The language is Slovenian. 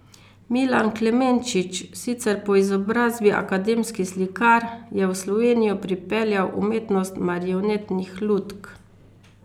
Milan Klemenčič, sicer po izobrazbi akademski slikar, je v Slovenijo pripeljal umetnost marionetnih lutk.